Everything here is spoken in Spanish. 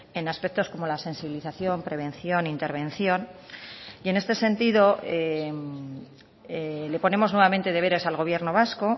en aspectos como la sensibilización prevención intervención y en este sentido le ponemos nuevamente deberes al gobierno vasco